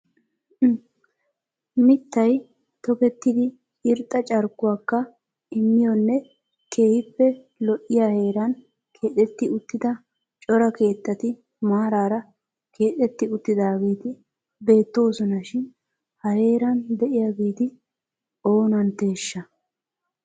Mittay tokkettidi irxxa carkkuwakka immiyonne keehippe lo"iyaa heeran keexxeti uttida cora keettati maarara keexxeti uttidaageeti beettoosona shin ha heeran de'iyaageeti oonantteshsha!